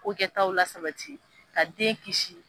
Kokɛtaw lasabati ka den kisi.